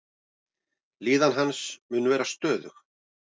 Líðan hans mun vera stöðug.